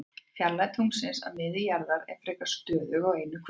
Fjarlægð tunglsins að miðju jarðar er frekar stöðug á einu kvöldi.